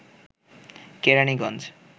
Keraniganj